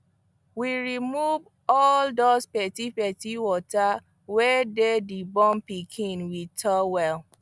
we remove all those petepete water wey dey the born pikin with towel